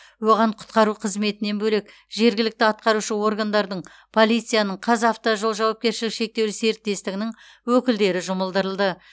оған құтқару қызметінен бөлек жергілікті атқарушы органдардың полицияның қазавтожол жауапкершілігі шектеулі серіктестігінің өкілдері жұмылдырылды